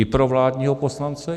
I pro vládního poslance?